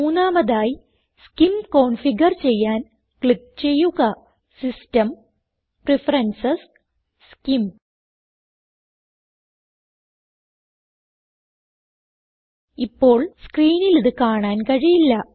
മൂന്നാമതായി SCIM configure ചെയ്യാൻ click ചെയ്യുക സിസ്റ്റം പ്രഫറൻസസ് സ്കിം ഇപ്പോൾ സ്ക്രീനിലിത് കാണാൻ കഴിയില്ല